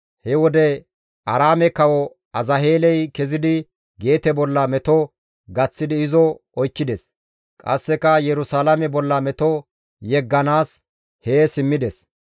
He wode Aaraame kawo Azaheeley kezidi Geete bolla meto gaththidi izo oykkides; qasseka Yerusalaame bolla meto yegganaas hee simmides.